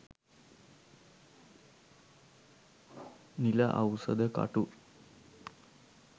නිල අවුසද කටු